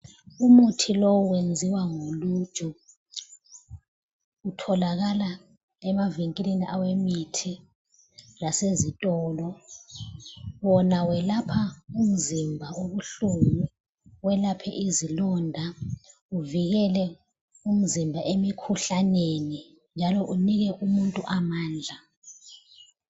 Umuthi lowu wenziwa ngoluju, utholakala emavinkilini awemithi lasezitolo. Wona welapha umzimba obuhlungu, welaphe izilonda, uvikele umzimba emikhuhlaneni njalo unike umuntu amandla.